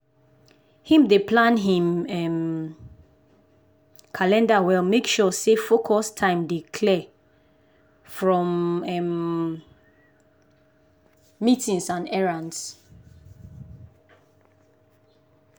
him dey plan him um calender well make sure say focus time dey clear from um meetings and errands.